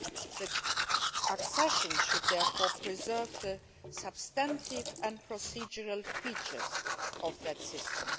The accession should therefore preserve the substantive and procedural features of that system.